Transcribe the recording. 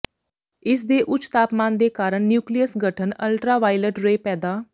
ਇਸ ਦੇ ਉੱਚ ਤਾਪਮਾਨ ਦੇ ਕਾਰਨ ਨਿਊਕਲੀਅਸ ਗਠਨ ਅਲਟਰਾਵਾਇਲਟ ਰੇ ਪੈਦਾ